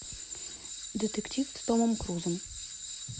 детектив с томом крузом